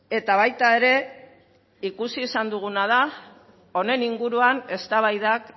eta baita ere ikusi izan duguna da honen inguruan eztabaidak